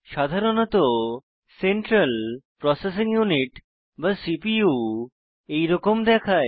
সাধারণত central processing unit বা CPU এইরকম দেখায়